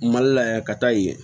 Mali la yan ka taa yen